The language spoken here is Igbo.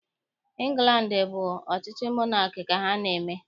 Ịngland bụ ọchịchị monaki ka ha na-eme